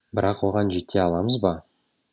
бірақ оған жете аламыз ба